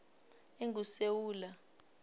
engusewula